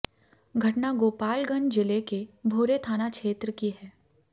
घटना गोपालगंज जिले के भोरे थाना क्षेत्र की है